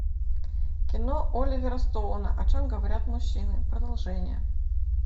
кино оливера стоуна о чем говорят мужчины продолжение